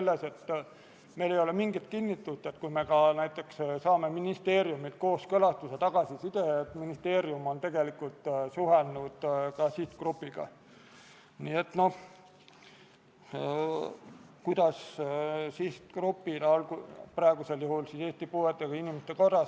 Lisaks otsustas riigikaitsekomisjon konsensuslikult, et Riigikogule tehakse ettepanek eelnõu teine lugemine lõpetada ning Riigikogu kodu- ja töökorra seaduse §-le 109 tuginedes eelnõu lõpphääletusele panna ja Riigikogu otsusena vastu võtta.